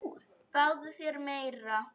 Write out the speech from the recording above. Fáðu þér meira!